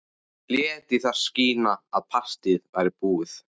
Lét í það skína að partíið væri búið.